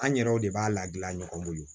An yɛrɛw de b'a la gilan ɲɔgɔn bolo